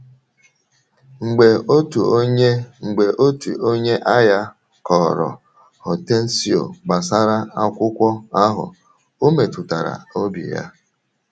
Mgbe otu onye Mgbe otu onye aghà kọ̀rọ̀ Hortêncio gbasara akwụkwọ ahụ, ọ̀ metụtara obi ya.